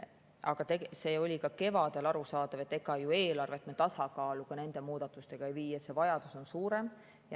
Aga see oli ka kevadel arusaadav, et ega ju nende muudatustega eelarvet tasakaalu ei vii, see vajadus on suurem.